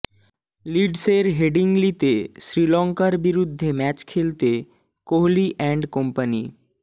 লিডসের হেডিংলিতে শ্রীলঙ্কার বিরুদ্ধে ম্যাচ খেলতে কোহলি অ্যান্ড কোম্পানি